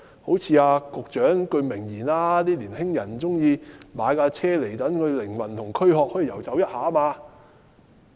好像陳帆局長的一句名言，"年青人喜歡買車，讓軀殼及靈魂可以遊走一下"。